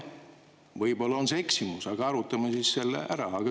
Võib-olla on see eksimus, aga arutame siis seda.